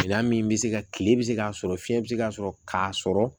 Minan min bɛ se ka kile bɛ se k'a sɔrɔ fiɲɛ bɛ se ka sɔrɔ k'a sɔrɔ